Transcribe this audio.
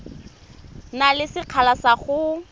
na le sekgala sa go